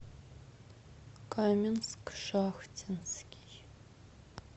каменск шахтинский